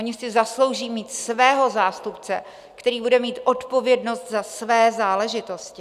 Oni si zaslouží mít svého zástupce, který bude mít odpovědnost za své záležitosti.